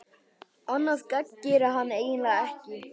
Annað gagn gerir hann eiginlega ekki.